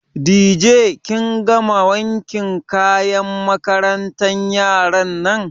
Dije kin gama wankin kayan makarantan yaran nan?